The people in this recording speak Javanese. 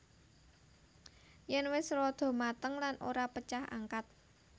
Yen wis rada mateng lan ora pecah angkat